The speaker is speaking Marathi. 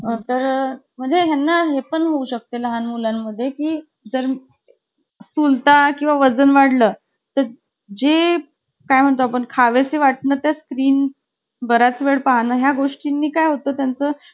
तर म्हणजे ज्ञान आहे पण होऊ शकते लहान मुलांमध्ये की जर चुल ता किंवा वजन वाढलं तर जे काय म्हणतो पण खावेसे वाटणे त्या स्क्रीन बराच वेळ पाळण्या गोष्टींनी काय होतं त्याचं